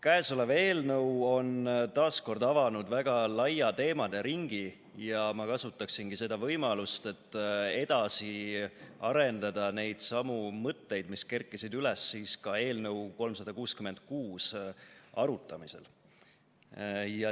Käesolev eelnõu on taas avanud väga laia teemade ringi ja ma kasutaksingi seda võimalust, et edasi arendada neidsamu mõtteid, mis kerkisid üles eelnõu 366 arutamisel.